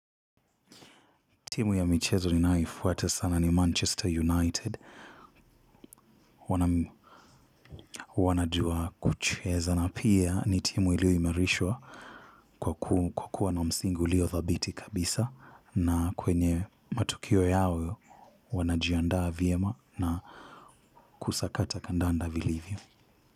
Timu ya michezo ninayoifuata sana ni manchester united. Wanajua kuchezana. Na pia ni timu ilio imarishwa kwa kuwa na msingi ulio thabiti kabisa. Na kwenye matukio yao wanajiandaa vyema na kusakata kandanda vilivyo.